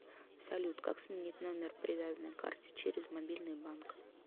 салют как сменить номер привязанный к карте через мобильный банк